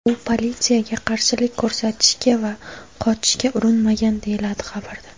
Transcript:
U politsiyaga qarshilik ko‘rsatishga va qochishga urinmagan”, deyiladi xabarda.